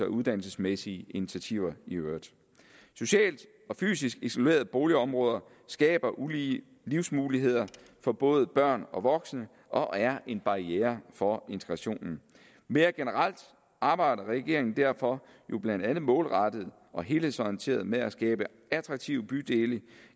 uddannelsesmæssige initiativer i øvrigt socialt og fysisk isolerede boligområder skaber ulige livsmuligheder for både børn og voksne og er en barriere for integrationen mere generelt arbejder regeringen derfor jo blandt andet målrettet og helhedsorienteret med at skabe attraktive bydele